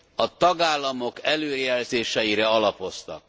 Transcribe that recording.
a tagállamok előrejelzéseire alapoztak.